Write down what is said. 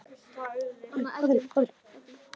Það tístir óvart í honum.